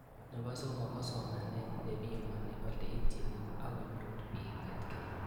Nepo somok ko somanet nepimani ole itchini akonyor piik EdTech